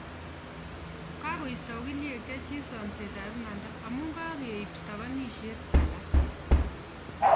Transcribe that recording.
Kagoisto ogilyek chechik samset ab imanda amuu kageip stakanishet alak